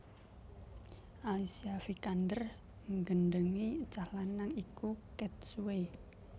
Alicia Vikander nggendhengi cah lanang iku ket suwe